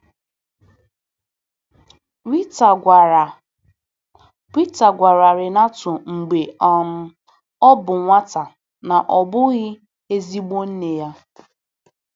Rita gwara Rita gwara Renato mgbe um ọ bụ nwata na ọ bụghị ezigbo nne ya.